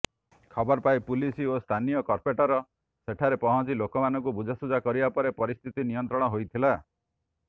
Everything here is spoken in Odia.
ଖବରପାଇ ପୁଲିସ୍ ଓ ସ୍ଥାନୀୟ କର୍ପୋରେଟର୍ ସେଠାରେ ପହଞ୍ଚି ଲୋକମାନଙ୍କୁ ବୁଝାସୁଝା କରିବା ପରେ ପରିସ୍ଥିତି ନିୟନ୍ତ୍ରଣ ହୋଇଥିଲା